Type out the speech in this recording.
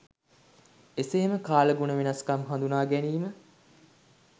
එසේම කාලගුණ වෙනස්කම් හඳුනා ගැනීම